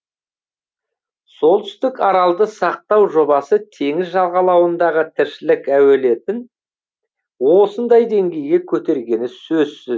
солтүстік аралды сақтау жобасы теңіз жағалауындағы тіршілік әуелетін осындай деңгейге көтергені сөзсіз